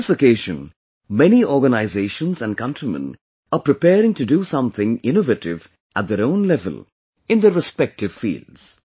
On this occasion, many organizations and countrymen are preparing to do something innovative at their own level, in their respective fields